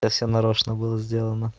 это всё нарочно было сделано